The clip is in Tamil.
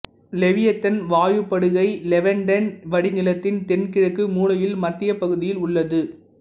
லெவியதன் வாயுப்படுகை லெவன்டைன் வடிநிலத்தின் தென்கிழக்கு மூலையில் மத்தியப் பகுதியில் உள்ளது